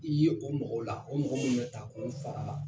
I ye o mɔgɔw la, o mɔgɔ min bɛ taa ko n far,a la.